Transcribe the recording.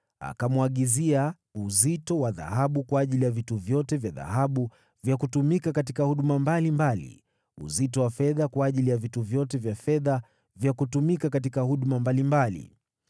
Akamwagizia uzito wa dhahabu kwa ajili ya vitu vyote vya dhahabu vya kutumika katika huduma mbalimbali, uzito wa fedha kwa ajili ya vitu vyote vya fedha vya kutumika katika huduma mbalimbali.